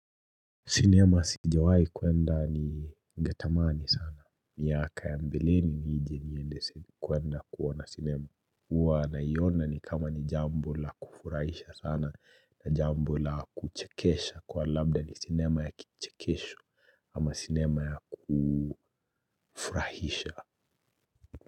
Sinema sijawahi kwenda ningetamani sana. Miaka ya mbelini nije niende kuenda kuona sinema. Huwa naiona ni kama ni jambo la kufurahisha sana na jambo la kuchekesha kuwa labda ni sinema ya kichekesho ama sinema ya kufurahisha.